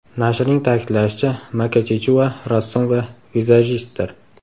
Nashrning ta’kidlashicha, Maka Chichua rassom va vizajistdir.